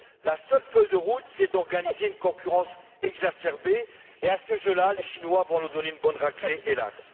La seule feuille de route consiste à organiser une concurrence exacerbée et, à ce jeu là, les Chinois vont nous donner une bonne raclée, hélas.